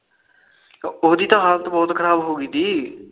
ਉਹਦੀ ਤਾ ਹਾਲਤ ਬਹੁਤ ਖਰਾਬ ਹੋਗੀ ਤੀ